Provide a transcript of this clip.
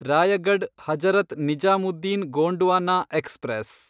Raigad Hazrat Nizamuddin Gondwana express